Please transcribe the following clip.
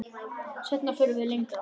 Seinna förum við lengra.